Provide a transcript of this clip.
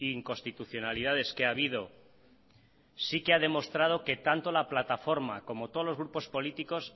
inconstitucionalidades que ha habido sí que ha demostrado que tanto la plataforma como todos los grupos políticos